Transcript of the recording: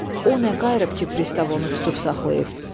O nə qayıb ki, pristavon onu tutub saxlayıb.